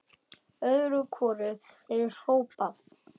Öðru hvoru er hrópað.